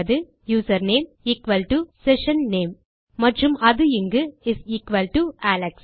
username equal to session name மற்றும் அது இங்கு இஸ் எக்குவல் டோ அலெக்ஸ்